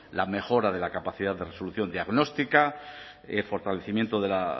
la mejora de la capacidad de resolución diagnóstica fortalecimiento de la